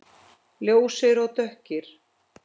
Ljósir og dökkir.